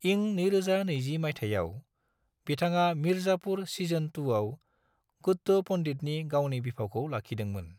इं 2020 माइथायाव, बिथाङा मिर्जापुर सिजन 2 आव गुड्डु पन्डितनि गावनि बिफावखौ लाखिदोंमोन।